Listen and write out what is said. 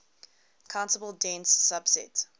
countable dense subset